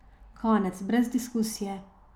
Konec, brez diskusije.